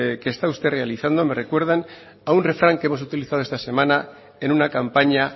que está usted realizando me recuerdan a un refrán que hemos utilizado esta semana en una campaña